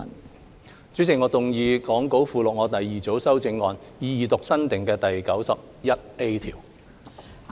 代理主席，我動議講稿附錄我的第二組修正案，以二讀新訂的第 91A 條。